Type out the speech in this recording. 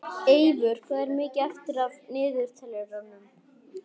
Eyvör, hvað er mikið eftir af niðurteljaranum?